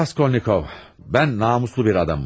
Bay Raskolnikov, mən namuslu bir adamım.